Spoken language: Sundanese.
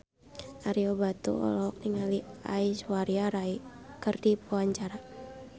Ario Batu olohok ningali Aishwarya Rai keur diwawancara